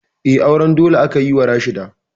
Eh, auren dole aka yi wa Rashida